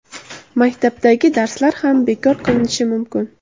Maktabdagi darslar ham bekor qilinishi mumkin.